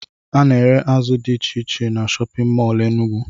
Ana ere azụ dị iche iche n'shóppin mol Enugu.